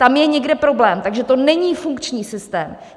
Tam je někde problém, takže to není funkční systém.